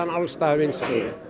alls staðar vinsæl